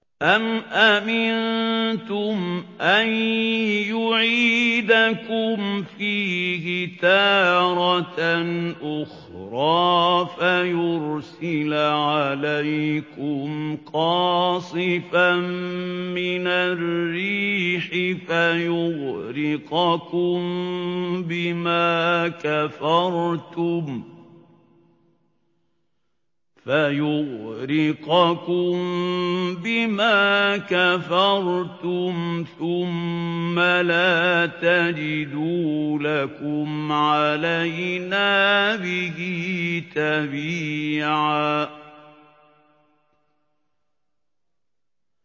أَمْ أَمِنتُمْ أَن يُعِيدَكُمْ فِيهِ تَارَةً أُخْرَىٰ فَيُرْسِلَ عَلَيْكُمْ قَاصِفًا مِّنَ الرِّيحِ فَيُغْرِقَكُم بِمَا كَفَرْتُمْ ۙ ثُمَّ لَا تَجِدُوا لَكُمْ عَلَيْنَا بِهِ تَبِيعًا